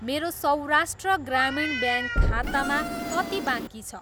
मेरो सौराष्ट्र ग्रामीण ब्याङ्क खातामा कति बाँकी छ?